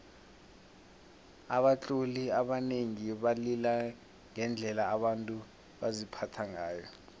abatloli abanengi balila ngendlela abantu baziphatha ngayo